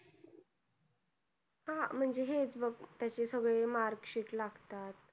हा, म्हणजे हेच बघ त्याचे सगळे mark sheet लागतात.